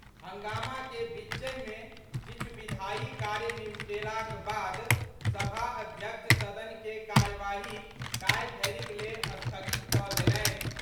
हंगामा के बीचहि मे किछु विधायी कार्य निवटेलाक बाद सभा अध्यक्ष सदन के कार्यवाही काल्हि धरिक लेल स्थगित कऽ देलनि।